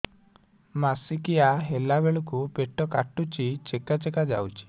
ମାସିକିଆ ହେଲା ବେଳକୁ ପେଟ କାଟୁଚି ଚେକା ଚେକା ଯାଉଚି